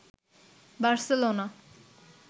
Barcelona